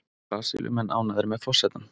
Brasilíumenn ánægðir með forsetann